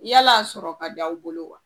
I yala a sɔrɔ ka di aw bolo wa?